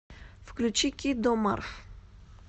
включи киддо марв